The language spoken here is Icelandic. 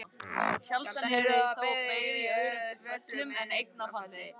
Sjaldan eru þau þó beygð í öðrum föllum en eignarfalli.